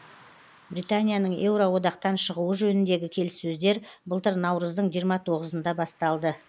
британияның еуроодақтан шығуы жөніндегі келіссөздер былтыр наурыздың жиырма тоғызында басталды